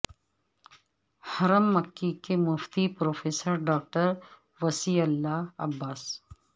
حرم مکی کے مفتی پروفیسر ڈاکٹر وصی اللہ عباس